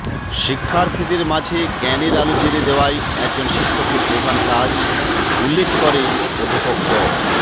শিক্ষার্থীদের মাঝে জ্ঞানের আলো জ্বেলে দেওয়াই একজন শিক্ষকের প্রধান কাজ উল্লেখ করে অধ্যাপক ড